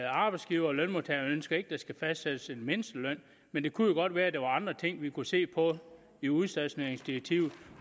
arbejdsgivere og lønmodtagere ønsker ikke at der skal fastsættes en mindsteløn men det kunne jo godt være at der var andre ting vi kunne se på i udstationeringsdirektivet